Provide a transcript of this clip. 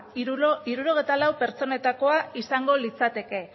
hirurogeita lau pertsonetako izango litzateke